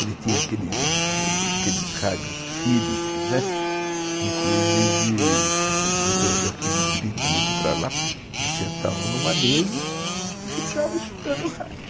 Ele tinha aqueles aqueles rádios Philips, né, inclusive o Dr. Joaquim de Brito ia para lá, ele sentava numa mesa e ficava escutando o rádio.